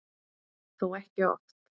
Þó ekki oft.